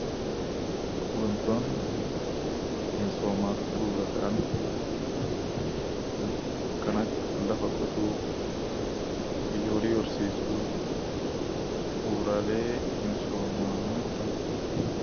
Wantoonni misoomaaf bu'uura ta'an kan akka lafa qotuu, horii horsiisuu, bu'uuraalee misoomaa jedhamu.